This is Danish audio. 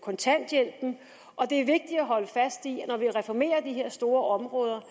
kontanthjælpen og det er vigtigt at holde fast i at når vi reformerer de her store områder